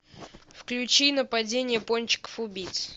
включи нападение пончиков убийц